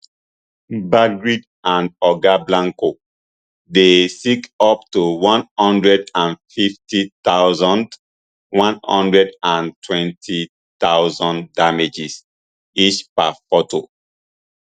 backgrid and oga blanco dey seek up to one hundred and fifty thousand one hundred and twelve thousand damages each per foto